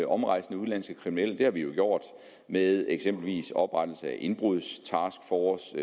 omrejsende udenlandske kriminelle det har vi jo gjort med eksempelvis oprettelse af indbrudstaskforcer